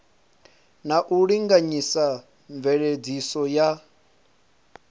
na u linganyisa mveledziso ya